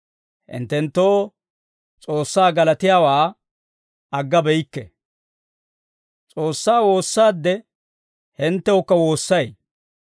hinttenttoo S'oossaa galatiyaawaa aggabeyikke; S'oossaa woossaade hinttewukka woossay.